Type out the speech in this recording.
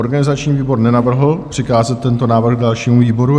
Organizační výbor nenavrhl přikázat tento návrh dalšímu výboru.